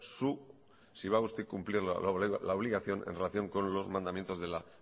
su si va usted a cumplir la obligación en relación con los mandamientos de la